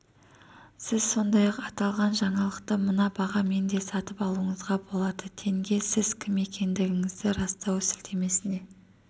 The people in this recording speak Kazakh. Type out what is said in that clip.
сіз сондай-ақ аталған жаңалықты мына бағамен де сатып алуыңызға болады тенге сіз кім екендігіңізді растау сілтемесіне